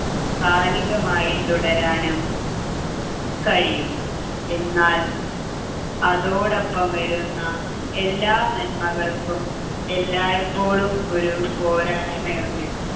കാലികമായി തുടരാനും കഴിയും എന്നാൽ അതോടൊപ്പം വരുന്ന എല്ലാ നന്മകൾക്കും എല്ലായിപ്പോഴും ഒരു പോരായ്മയുണ്ട്